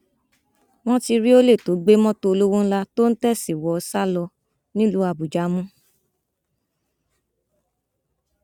wọn ti rí olè tó gbé mọtò olówó ńlá tó ń tẹẹsì wọ sá lọ nílùú àbújá mú